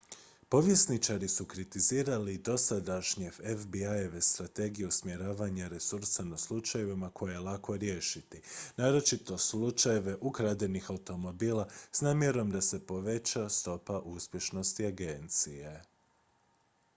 povjesničari su kritizirali dosadašnje fbi-eve strategije usmjeravanja resursa na slučajeve koje je lako riješiti naročito slučajeve ukradenih automobila s namjerom da se poveća stopa uspješnosti agencije